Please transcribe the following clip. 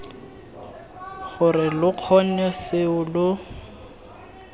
gore lo kgone seo lo